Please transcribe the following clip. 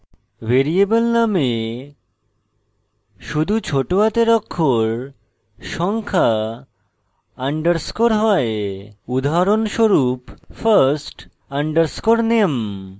variable name শুধু ছোট হাতের অক্ষর সংখ্যা underscores হয় উদাহরণস্বরূপ : first _ name